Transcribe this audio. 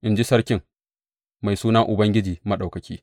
in ji Sarkin, mai suna Ubangiji Maɗaukaki.